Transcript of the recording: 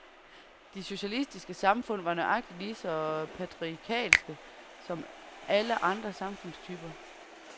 De socialistiske samfund var nøjagtig lige så patriarkalske som alle andre samfundstyper.